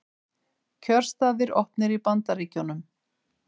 Kjörstaðir opnir í Bandaríkjunum